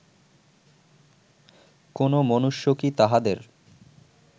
কোন মনুষ্য কি তাঁহাদের